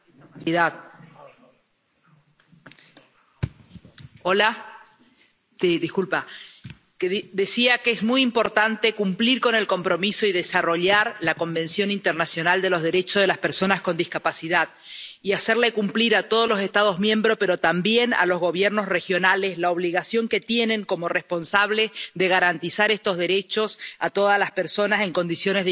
Señor presidente, es muy importante cumplir con el compromiso y desarrollar la Convención Internacional de los Derechos de las Personas con Discapacidad y hacer cumplir a todos los Estados miembros, pero también a los gobiernos regionales, su obligación que tienen, como responsables, de garantizar estos derechos a todas las personas en condiciones de igualdad.